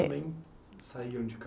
também saíam de